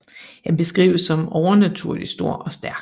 Han beskrives som overnaturlig stor og stærk